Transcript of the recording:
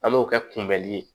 An m'o kɛ kunbɛli ye